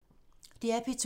DR P2